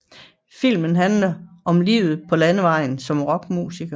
Filmen handler om livet på landevejen som rockmusiker